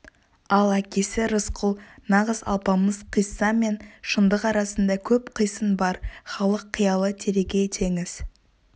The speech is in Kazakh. ал әкесі рысқұл нағыз алпамыс қисса мен шындық арасында көп қисын бар халық қиялы телегей теңіз